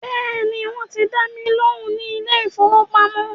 Bẹ́ẹ̀ni, wọ́n ti dá mi lóhùn ní ilé ìfọwọ́pamo.